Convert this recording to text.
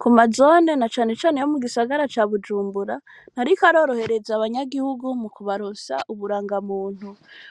Ku mazone, na cane cane, yo mu gisagara ca Bujumbura, ntariko arorohereza, abanyagihugu, mu kubaronsa uburangamuntu;